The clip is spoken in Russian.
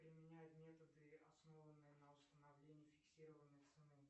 применять методы основанные на установлении фиксированной цены